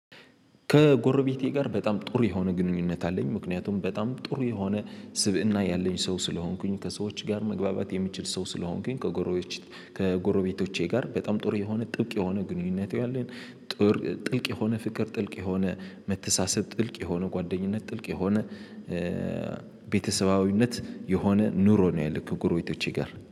ከጎረቤቴ ጋር በጣም ጥሩ የሆነ ግንኙነት አለኝ ምክንያቱም በጣም ጥሩ የሆነ ስብእና ያለኝ ሰው ስለሆንኩኝ ከሰዎች ጋር መግባባት የሚችል ሰው ስለሆንኩኝ። ከጎሮቤቶቼ ጋር በጣም ጥሩ የሆነ ጥብቅ የሆነ ግንኙነት ያለን። ጥልቅ የሆነ ፍቅር ጥልቅ የሆነ መተሳሰብ ጥልቅ የሆነ ጓደኝነት ጥልቅ የሆነ ቤተሰባዊነት የሆነ ኑሮ ነው። ያለን ከጉሮቤቶቼ ጋር